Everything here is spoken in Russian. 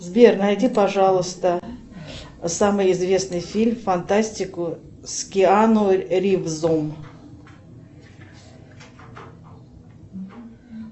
сбер найди пожалуйста самый известный фильм фантастику с киану ривзом